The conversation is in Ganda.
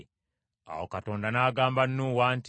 Awo Katonda n’agamba Nuuwa nti,